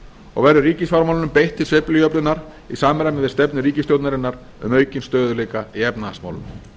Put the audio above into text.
og verður ríkisfjármálunum beitt til sveiflujöfnunar í samræmi við stefnu ríkisstjórnarinnar um aukin stöðugleika í efnahagsmálum